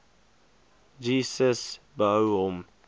gcis behou hom